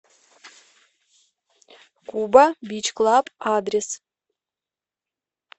куба бич клаб адрес